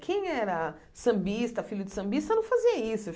Quem era sambista, filho de sambista, não fazia isso.